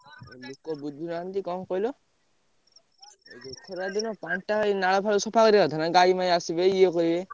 ଲୋକ ବୁଝୁନାହାନ୍ତି କଣ କହିଲ। ଖରା ଦିନ ପାଣି ଟା ଏଇ ନାଳ ଫାଳ ସଫା କରିଆ କଥା ନା। ଗାଈ ମାଈ ଆସିବେ ଇଏ କରିବେ।